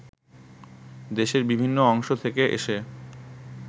দেশের বিভিন্ন অংশ থেকে এসে